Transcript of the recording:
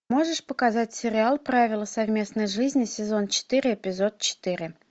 можешь показать сериал правила совместной жизни сезон четыре эпизод четыре